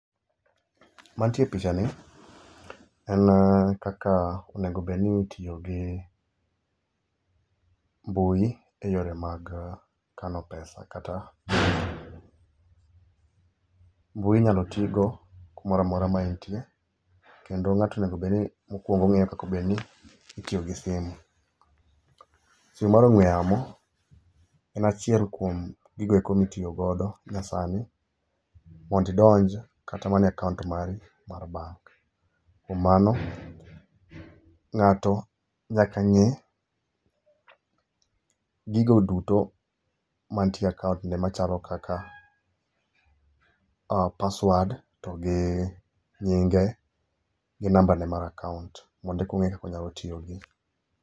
Mantie pichani en kaka onego obed ni itiyo gi mbui e yore mag kano pesa kata. Mbui inyalo tigo kumoro amora ma intie kendo ng'ato onego bed ni mokwongo ong'eyo kaka onego obedni itiyo gi simu. Simu mar ong'we yamo en achiel kuom gigo eko mitiyo godo nyasani mondo idonj kata mana e akaont mari mar [cs[bank. Ng'ato nyaka ng'e gigo duto mantie e akaont ne machalo kaka password to gi nyinge gi nambane mar akaont mondo eka ong'e kaka onyalo tiyo gi.